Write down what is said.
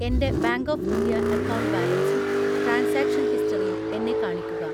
എൻ്റെ bank of India account ബാലൻസും transaction ഹിസ്റ്ററിയും എന്നെ കാണിക്കുക.